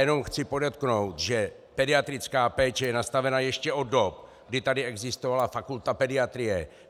Jenom chci podotknout, že pediatrická péče je nastavena ještě od dob, kdy tady existovala fakulta pediatrie.